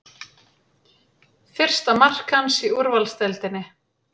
Fyrsta mark hans í úrvalsdeildinni